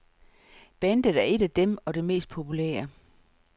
Bandet er et af dem, og det mest populære.